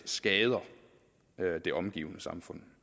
skader det omgivende samfund